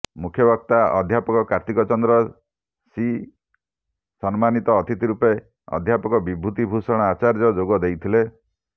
ମୁଖ୍ୟବକ୍ତା ଅଧ୍ୟାପକ କାର୍ତ୍ତିକ ଚନ୍ଦ୍ର ସି ସମ୍ମାନିତ ଅତିଥି ରୂପେ ଅଧ୍ୟାପକ ବିଭୂତି ଭୂଷଣ ଆଚାର୍ଯ୍ୟ ଯୋଗ ଦେଇଥିଲେ